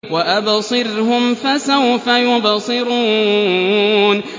وَأَبْصِرْهُمْ فَسَوْفَ يُبْصِرُونَ